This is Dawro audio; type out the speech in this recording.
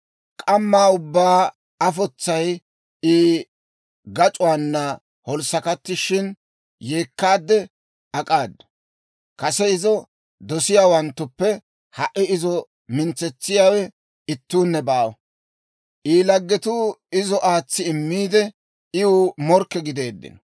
K'amma ubbaan afotsay I gac'uwaana holssakkattishin, yeekkaade ak'aadu. Kase izo dosiyaawanttuppe ha"i izo mintsetsiyaawe ittuunne baawa. I laggetuu izo aatsi immiide, iw morkke gideeddino.